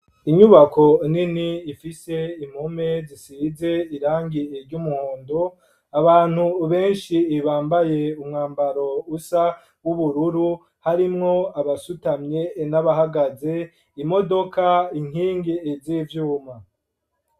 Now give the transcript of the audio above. Inyubako nini ifise impome zisize irangi ry'umuhondo abantu beshi ibambaye umwambaro usa w'ubururu harimwo abasutamye n'abahagaze imodoka inkingi z'ivyuma